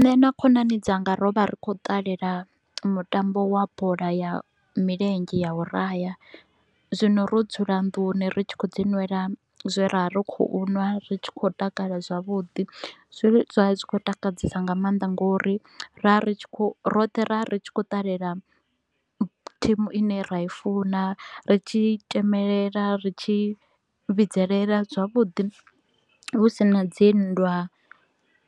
Nṋe na khonani dzanga ro vha ri kho u ṱalela mutambo wa bola ya milenzhe ya u raha, zwino ro dzula nnduni ri tshi khou dzi nwela zwe ra vha ri kho u nwa ri tshi kho u takala zwavhuḓi. Zwe zwa vha zwi tshi kho u takadzesa nga maanḓa nga u ri ra ri kho u roṱhe ra ri tshi kho u ṱalela thimu ine ra i funa, ri tshi tshemelela, ri tshi vhidzelela zwavhuḓi hu si na dzinndwa.